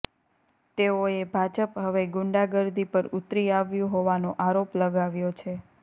તેઓએ ભાજપ હવે ગુંડાગર્દી પર ઉતરી આવ્યું હોવાનો આરોપ લગાવ્યો છે